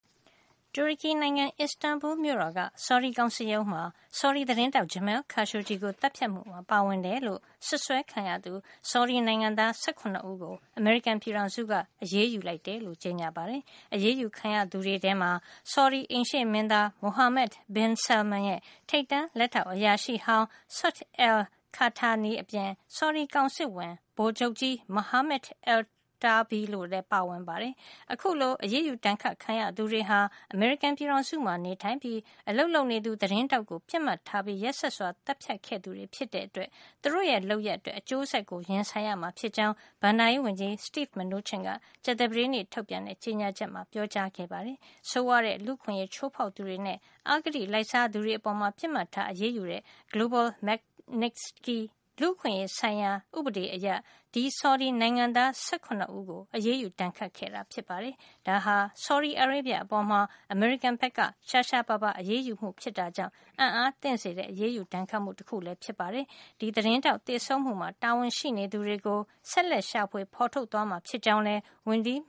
တူရကီနိုင်ငံ Istanbul မြို့တော်က ဆော်ဒီကောင်စစ်ရုံးမှာ ဆော်ဒီသတင်းထောက် Jamal Khashoggi ကို သတ်ဖြတ်မှုမှာ ပါဝင်တယ်လို့ စွပ်စွဲခံရသူ ဆော်ဒီနိုင်ငံသား ၁၇ ဦးကို အမေရိကန်ပြည်ထောင်စုက အရေးယူ လိုက်ကြောင်း ကြေညာခဲ့ပါတယ်။ အရေးယူခံရသူတွေထဲမှာ ဆော်ဒီအိမ်ရှေ့မင်းသား Mohammed bin Salman ရဲ့ ထိပ်တန်း လက်ထောက် အရာရှိဟောင်း Saud al-Qahtani အပြင် ဆော်ဒီကောင်စစ်ဝန် ဗိုလ်ချုပ်ကြီး Mohammed Alotaibi တို့လည်း ပါဝင်ပါတယ်။ အခု အရေးယူဒဏ်ခတ် ခံရသူတွေဟာ အမေရိကန်ပြည်ထောင်စုမှာ နေထိုင်ပြီး အလုပ်လုပ်နေသူ သတင်း ထောက်ကို ပစ်မှတ်ထားပြီး ရက်စက်စွာ သတ်ဖြတ်ခဲ့သူတွေ ဖြစ်တဲ့အတွက် သူတို့ရဲ့လုပ်ရပ်အတွက် အကျိုးဆက်ကို ရင်ဆိုင်ရမှာ ဖြစ်ကြောင်း ဘဏ္ဍာရေးဝန်ကြီး Steve Mnuchin က ကြာသပတေးနေ့ ထုတ်ပြန် တဲ့ ကြေညာချက်မှာပြောကြားခဲ့ပါတယ်။ ဆိုးဝါးတဲ့ လူ့အခွင့်ရေးချိုးဖေါက်သူတွေနဲ့ အဂတိလိုက်စားသူတွေ အပေါ်ပစ်မှတ်ထားအရေးယူတဲ့ Global Magnitsky လူ့အခွင့်ရေးဆိုင်ရာ ဥပဒေအရ ဆော်ဒီနိုင်ငံသား ၁၇ ဦးကို အရေးယူ ဒဏ်ခတ်ခဲ့တာ ဖြစ်ပါတယ်။ ဒါဟာ ဆော်ဒီအာရေဗျ အပေါ် အမေရိကန်က ရှားရှားပါးပါး အရေးယူမှု ဖြစ်တာကြောင့် အံ့အားသင့်စေတဲ့ အရေးယူဒဏ်ခတ်မှုလည်း ဖြစ်ပါတယ်။ ဒီသတင်းထောက် သေဆုံးမှုမှာ တာဝန်ရှိနေသူတွေကိုဆက်လက်ရှာဖွေ ဖေါ်ထုတ်သွားမှာ ဖြစ်ကြောင်းလည်း ဝန်ကြီး